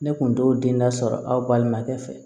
Ne kun t'o den da sɔrɔ aw balimakɛ fɛ